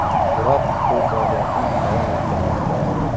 Biroq u faoliyatini davom ettirmoqda.